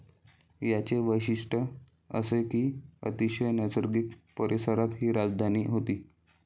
याचे वैशिष्ट्य असे कि अतिशय नैसर्गिक परिसरात हि राजधानी होती.